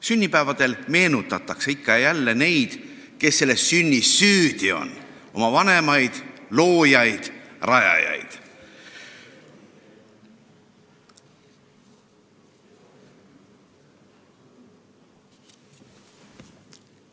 Sünnipäevadel meenutatakse ikka ja jälle neid, kes selles sünnis "süüdi" on – oma vanemaid, loojaid, rajajaid.